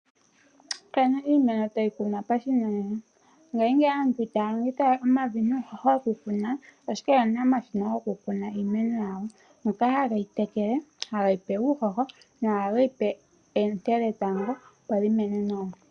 Opena iimeno tayi kunwa pashinanena. Ngashingeyi aantu itaya longitha we omavi nuuhoho wokukuna, ashike oye na omashina gokukuna iimeno yawo. Ngoka haga tekele, hage yi pe uuhoho nohage yi pe oonte dhetango opo yi mene nawa.